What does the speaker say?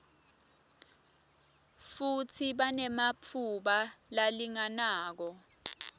futsi banematfuba lalinganako